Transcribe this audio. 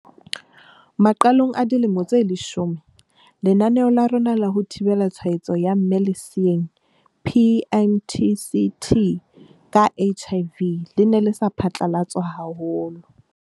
Maqalong a dilemo tse leshome, lenaneo la rona la ho thibela tshwaetso ya mme leseeng, PMTCT, ka HIV le ne le sa phatlalatswa haholo.